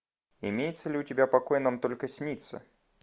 имеется ли у тебя покой нам только снится